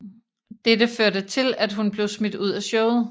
Dette førte til at hun blev smidt ud af showet